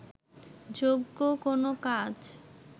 যোগ্য কোনো কাজ